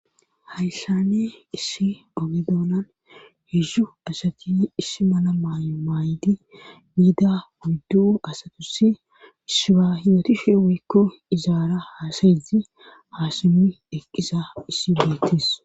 hayssane issi ogedoonan hedzu asati issi mala maayo maaydi biida wuddu asatusi shiba hiyotu she wikko izaara haasayizi haasumi eqqisa issi beettis